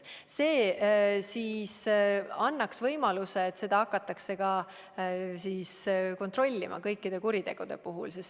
See annaks võimaluse, et seda hakatakse kontrollima kõikide kuritegude puhul.